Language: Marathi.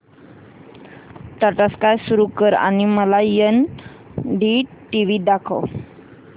टाटा स्काय सुरू कर आणि मला एनडीटीव्ही दाखव